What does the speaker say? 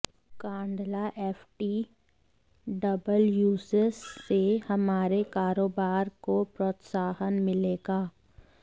Kandla FTWZ से हमारे कारोबार को प्रोत्साहन मिलेगा